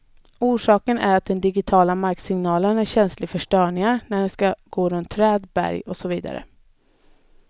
Orsaken är att den digitiala marksignalen är känslig för störningar när den skall gå runt träd, berg och så vidare.